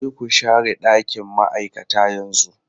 Je ku share ɗakin ma'aikata yanzu!